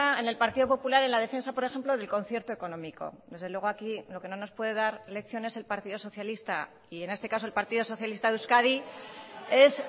en el partido popular en la defensa por ejemplo del concierto económico desde luego aquí lo que no nos puede dar lecciones el partido socialista y en este caso el partido socialista de euskadi es